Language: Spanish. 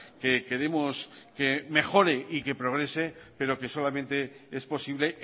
que queremos que mejore y que progrese pero que solamente es posible